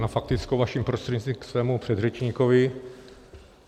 Na faktickou, vaším prostřednictvím, ke svému předřečníkovi.